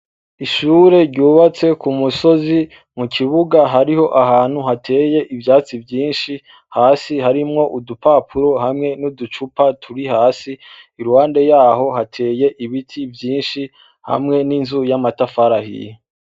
Ishure ryubatse ku musozi mu kibuga hariho ahantu hateye ivyatsi vyinshi, hasi harimwo udupapuro hamwe n' uducupa turi hasi, iruhande yaho hateye ibiti vyinshi, hamwe n'inzu y' amatafari ahiye.